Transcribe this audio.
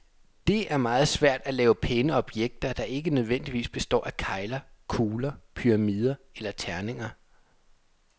Det er meget svært at lave pæne objekter, der ikke nødvendigvis består af kegler, kugler, pyramider eller terninger.